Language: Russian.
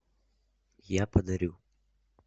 я подарю